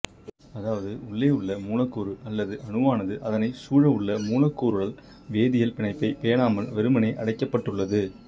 அதாவது உள்ளேயுள்ள மூலக்கூறு அல்லது அணுவானது அதனைச் சூழவுள்ள மூலக்கூறுடல் வேதியல் பிணைப்பைப் பேணாமல் வெறுமனே அடைக்கப்பட்டுள்ளது